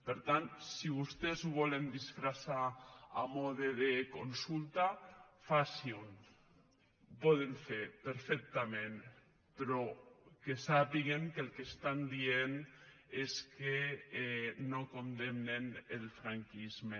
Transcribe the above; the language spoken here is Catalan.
per tant si vostès ho volen disfressar a mode de consulta facin ho ho poden fer perfectament però que sàpiguen que el que estan dient és que no condemnen el franquisme